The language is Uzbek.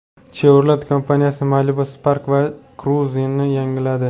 Chevrolet kompaniyasi Malibu, Spark va Cruze’ni yangiladi.